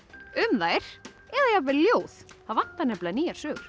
um þær eða jafnvel ljóð það vantar nýjar sögur